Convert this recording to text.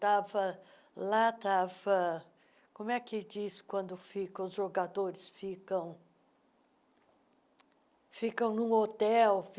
estava lá estava... Como é que diz quando fica os jogadores ficam ficam num hotel?